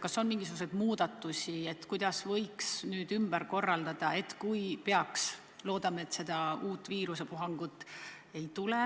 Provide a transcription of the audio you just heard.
Kas on mingisuguseid plaane, kuidas võiks seda ümber korraldada, kui peaks tulema uus viirusepuhang – loodame, et seda ei tule,